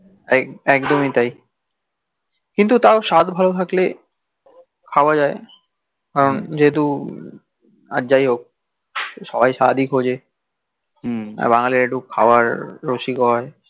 টাই একদমি টাই কিন্তু তাও স্বাদ ভাল থাকলে খাওয়া যাই যেহেতু আর যাই হক আর যাই হক সবাই স্বাদই খজে হম আর বাঙ্গালিরা একটু খাওয়ার রসিক হই